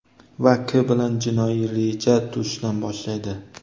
va K bilan jinoiy reja tuzishdan boshlaydi.